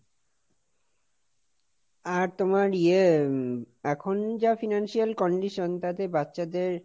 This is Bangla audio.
আর তোমার ইয়ে এখন যা Financial condition তাতে বাচ্চাদের